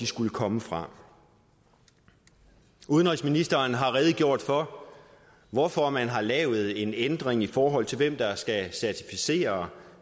skulle komme fra udenrigsministeren har redegjort for hvorfor man har lavet en ændring i forhold til hvem der skal certificere